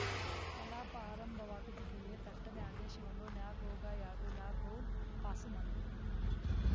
ಕಲಾಪ ಆರಂಭವಾಗುತ್ತಿದ್ದಂತೆಯೇ ಥಟ್ಟನೇ ಆದೇಶವನ್ನು ನ್ಯಾ ಗೊಗೋಯ್‌ ಹಾಗೂ ನ್ಯಾ ಕೌಲ್‌ ಪಾಸು ಮಾಡಿದರು